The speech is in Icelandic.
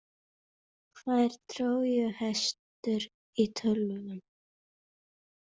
Hvað er trójuhestur í tölvum?